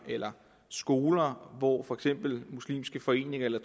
eller skoler hvor for eksempel muslimske foreninger eller